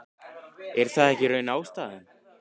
Kristinn Már Unnarsson: Er það ekki í raun ástæðan?